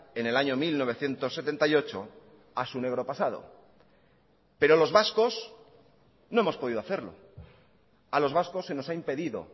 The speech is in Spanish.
en el año mil novecientos setenta y ocho a su negro pasado pero los vascos no hemos podido hacerlo a los vascos se nos ha impedido